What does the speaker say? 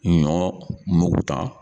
Ɲɔ mugu tan